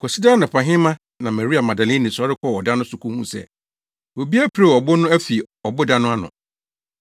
Kwasida anɔpahema na Maria Magdalene sɔre kɔɔ ɔda no so kohuu sɛ obi apirew ɔbo no afi ɔboda no ano.